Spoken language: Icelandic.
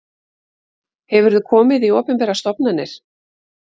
Hefurðu komið í opinberar stofnanir?